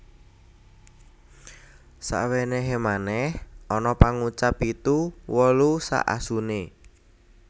Sawenehe manèh ana pangucap Pitu wolu sak asune